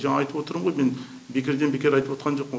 жаңа айтып отырмын ғой мен бекерден бекер айтып отқан жоқ